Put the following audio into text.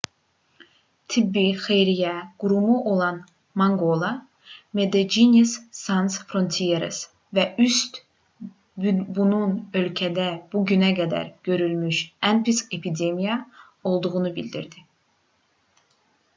tibbi xeyriyyə qurumu olan mangola medecines sans frontieres və üst bunun ölkədə bu günə qədər görülmüş ən pis epidemiya olduğunu bildirdi